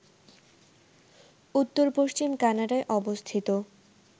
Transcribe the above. উত্তর-পশ্চিম কানাডায় অবস্থিত